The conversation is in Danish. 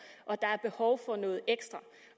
og der er behov for noget ekstra